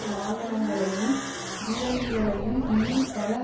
வாகனங்களையும் பீரங்கிகளையும் இன்னும் பல